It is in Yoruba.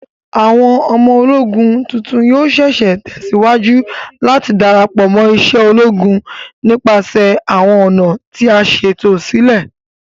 Awọn ọmọ-ologún tuntun yoo ṣee ṣe tẹsiwaju lati darapọ mo ise ologun nipasẹ awọn ọna ti a ṣeto silẹ